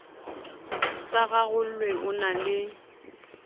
sa rarollwe o na le